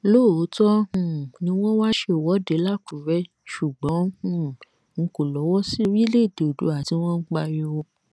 Lóòótọ́ um ni wọn wáá ṣèwọ́de lákùúrẹ́ ṣùgbọ́n um n kò lọ́wọ́ sí orílẹ̀èdè oòduà tí wọ́n ń pariwo